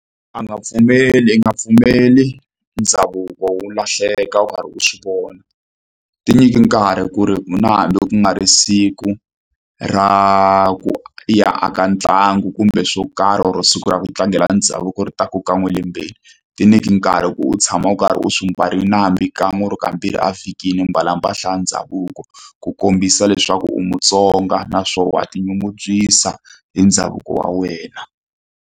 A nga pfumeli i nga pfumeli ndhavuko wu lahleka u karhi u swi vona tinyiki nkarhi ku ri ku na hambi ku nga ri siku ra ku i ya a ka ntlangu kumbe swo karhi or siku ra ku tlangela ndhavuko ri taku kan'we elembeni tinyiki nkarhi ku u tshama u karhi u swi mbarile na hambi kan'we kumbe kambirhi a vhikini mbala mpahla ya ndhavuko ku kombisa leswaku u mutsonga naswona wa tinyungubyisa hi ndhavuko wa wena.